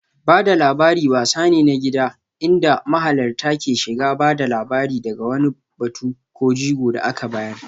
Ba da labari wasa ne na gida inda mahalarta ke shiga ba da labari daga wani batu ko jigo da aka bayar